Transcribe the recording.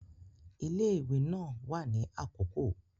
Ile-iwe naa wa ni akoko